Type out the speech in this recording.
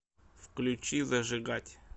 включи зажигать